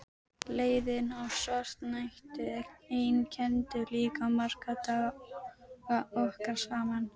Leiðinn og svartnættið einkenndu líka marga daga okkar saman.